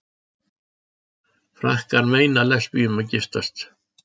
Frakkar meina lesbíum að giftast